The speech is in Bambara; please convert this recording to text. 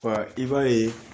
Wa i b'a ye